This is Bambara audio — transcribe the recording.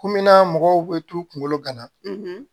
Komin na mɔgɔw bɛ t'u kungolo gana